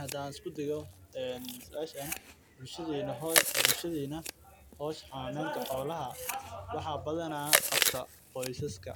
Hadaan isku dayo suashan bulshada howsha xananeenta xolaha waxaa qabtaan qoysaska